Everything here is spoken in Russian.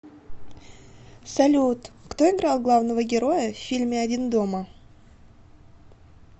салют кто играл главного героя в фильме один дома